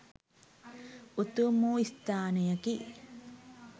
උතුම් වූ ස්ථානයකි.